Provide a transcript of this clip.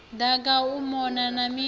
daka u mona na midi